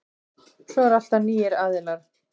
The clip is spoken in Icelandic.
Svo er alltaf nýir aðilar.